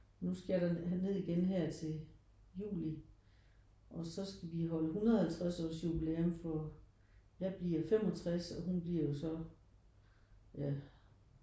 Nu skal jeg derned igen her til juli og så skal vi holde 150 års jubilæum for jeg bliver 65 og hun bliver jo så ja